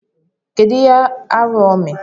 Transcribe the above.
Kedu ihe arụ o mere?